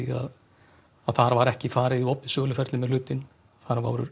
að þar var ekki farið í opið söluferli með hlutinn þar